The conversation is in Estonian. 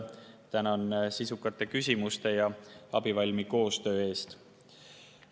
Tänan sisukate küsimuste ja abivalmi koostöö eest.